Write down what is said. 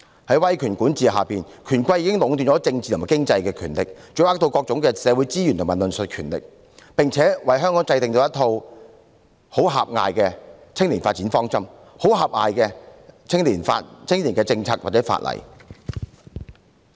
在威權管治下，權貴已經壟斷了政治和經濟權力，掌握各種社會資源及論述權，並為香港制訂了一套很狹隘的青年發展方針、很狹隘的青年政策或法例。